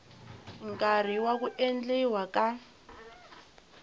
nkarhi wa ku endliwa ka